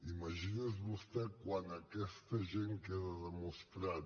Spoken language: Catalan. imagini’s vostè quan aquest agent queda demostrat